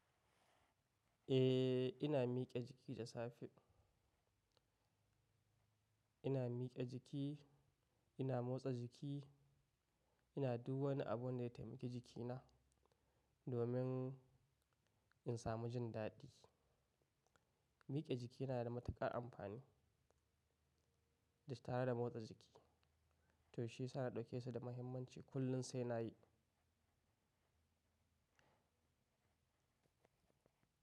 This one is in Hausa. Eh, ina mike jiki da safe. Ina mike jiki, ina motsa jiki, ina du wani abu da ya taimaki jikina domin in samu jin daɗi. Mike jiki yana da matuƙar amfani da tare da motsa jiki to shi sa na ɗauke shi da mahimmanci kullum sai na yi.